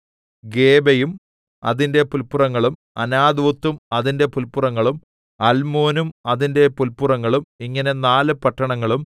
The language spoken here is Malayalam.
ഗേബയും അതിന്റെ പുല്പുറങ്ങളും അനാഥോത്തും അതിന്റെ പുല്പുറങ്ങളും അൽമോനും അതിന്റെ പുല്പുറങ്ങളും ഇങ്ങനെ നാല് പട്ടണങ്ങളും